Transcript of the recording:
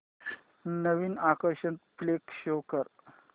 नवीन action flick show कर